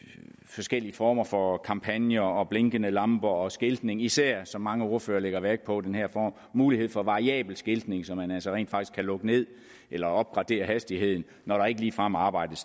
forskellige former for kampagner blinkende lamper og skiltning især som mange ordførere lægger vægt på den her mulighed for variabel skiltning så man altså rent faktisk kan lukke ned eller opgradere hastigheden når der ikke ligefrem arbejdes